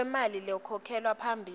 kwemali lekhokhelwa phambilini